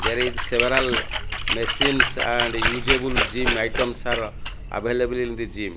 there is several machines and usable gym items are available in the gym.